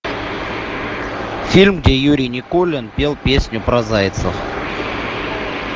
фильм где юрий никулин пел песню про зайцев